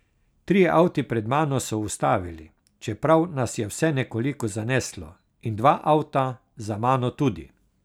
Trije avti pred mano so ustavili, čeprav nas je vse nekoliko zaneslo, in dva avta za mano tudi.